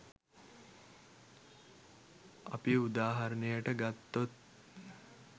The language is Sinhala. අපි උදාහරනයට ගත්තොත්